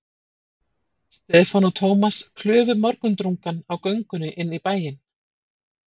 Stefán og Thomas klufu morgundrungann á göngunni inn í bæinn.